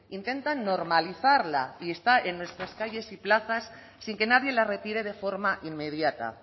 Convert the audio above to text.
intentan normalizarla y está en nuestras calles y plazas sin que nadie la retire de forma inmediata